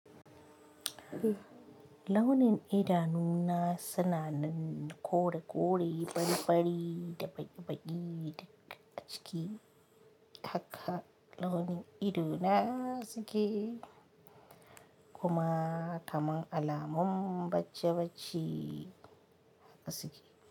Launin idanuna, suna nan kore-kore, fari-fari, da baƙi-baƙi daga ciki hakka launin ido na suke, kuma kamar alamun bacci bacci haka suke.